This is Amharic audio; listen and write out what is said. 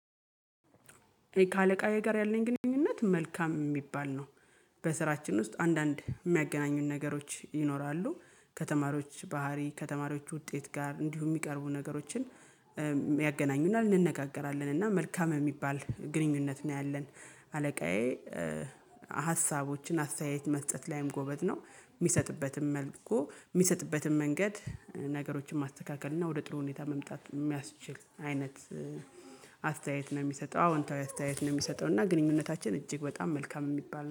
ከአለቃየ ጋር ያለኝ ግንኙነት መልካም የሚባል ነው። በስራችን ውስጥ አንዳንድ የሚያገናኙን ነገሮች ይኖራሉ። ከተማሪዎች ባህሪ ከተማሪዎች ውጤት ጋር እንዲሁ የሚቀርቡ ነገሮችን ያገናኙናል እንነጋገራለን እና መልካም የሚባል ግንኙነት ነው ያለን። አለቃዬ ሀሳቦችን አስተያየት መስጠት ላይም ጎበዝ ነው። የሚሰጥበትም መልኩ የሚሰጥበትም መንገድ ነገሮችን ማስተካከል እና ወደ ጥሎ ሁኔታ መምጣት የሚያስችል አይነት። አስተያየት ነው የሚሰጠው አዎ አንተ የት ነው የሚሰጠው እና ግንኙነታችን እጅግ በጣም መልካም የሚባል